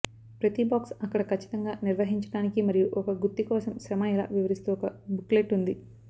ప్రతి బాక్స్ అక్కడ ఖచ్చితంగా నిర్వహించడానికి మరియు ఒక గుత్తి కోసం శ్రమ ఎలా వివరిస్తూ ఒక బుక్లెట్ ఉంది